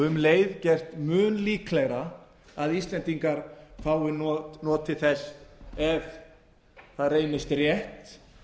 um leið gert mun líklegra að íslendingar fái notið þess ef það reynist rétt